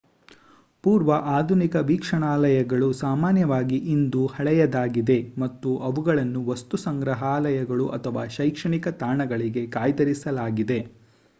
ಪೂರ್ವ-ಆಧುನಿಕ ವೀಕ್ಷಣಾಲಯಗಳು ಸಾಮಾನ್ಯವಾಗಿ ಇಂದು ಹಳೆಯದಾಗಿದೆ ಮತ್ತು ಅವುಗಳನ್ನು ವಸ್ತುಸಂಗ್ರಹಾಲಯಗಳು ಅಥವಾ ಶೈಕ್ಷಣಿಕ ತಾಣಗಳಿಗೆ ಕಾಯ್ದಿರಿಸಲಾಗಿದೆ